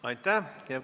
Aitäh!